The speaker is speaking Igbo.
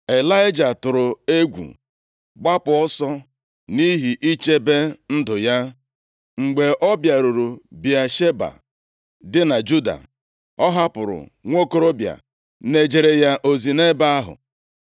Ịlaịja tụrụ egwu, gbapụ ọsọ, nʼihi ichebe ndụ ya. Mgbe ọ bịaruru Bịasheba, dị na Juda, ọ hapụrụ nwokorobịa na-ejere ya ozi nʼebe ahụ.